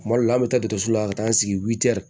Kuma dɔ la an bɛ taa dɔgɔtɔrɔso la ka taa an sigi